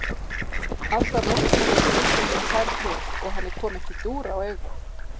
Alla nóttina voru húsgögnin færð til, og henni kom ekki dúr á auga.